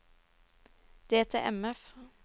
DTMF